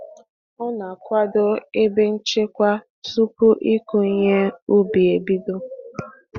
Ọ na-akwado ebe nchekwa tupu ịkụ ihe ubi e bido.